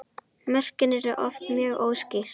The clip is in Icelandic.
Mörkin eru oft mjög óskýr.